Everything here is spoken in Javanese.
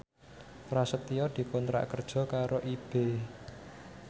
Prasetyo dikontrak kerja karo Ebay